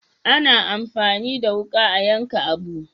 A na amfani da wuka a yanka abu